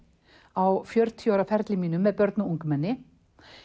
á fjörutíu ára ferli mínum með börn og ungmenni